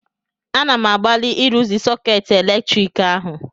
Ana m agbalị ịrụzi sọkeetị eletrik ahụ